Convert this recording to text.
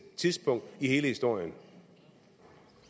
tidspunkt i hele historien